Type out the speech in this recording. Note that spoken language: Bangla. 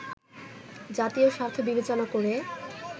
জাতীয় স্বার্থ বিবেচনা করে